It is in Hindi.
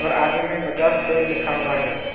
और आगे में बजाज सेल लिखा हुआ है।